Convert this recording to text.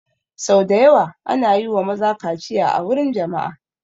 Sau da yawa ana yi wa maza kaciya a wurin jama'a